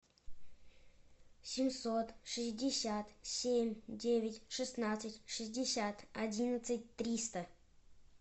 семьсот шестьдесят семь девять шестнадцать шестьдесят одиннадцать триста